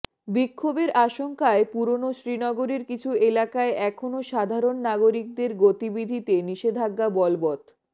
বিক্ষোভের আশঙ্কায় পুরনো শ্রীনগরের কিছু এলাকায় এখনও সাধারণ নাগরিকদের গতিবিধিতে নিষেধাজ্ঞা বলবৎ